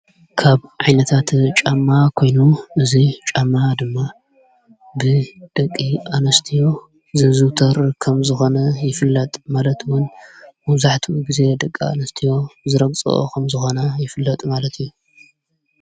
ካብ ዓይነታት ጫማ ኮይኑ እዙይ ጫማ ድማ ብ ደቂ ኣነስትዎ ዝዝተር ከም ዝኾነ ይፍለጥ ማለትዉን ሙዛዕቱ ጊዜ ደቂ ኣንስትዎ ዝረግፅኦ ኸም ዝኾነ ይፍለጥ ማለት እዩ።